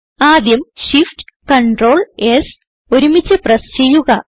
ആദ്യം shift ctrl S ഒരുമിച്ച് press ചെയ്യുക